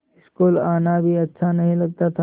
school आना भी अच्छा नहीं लगता था